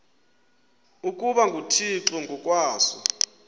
ukuba nguthixo ngokwaso